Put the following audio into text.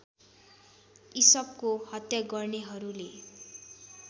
इसपको हत्या गर्नेहरूले